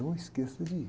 Não esqueça de ir.